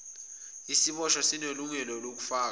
isiboshwa sinelungelo lokufaka